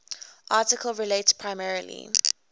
article relates primarily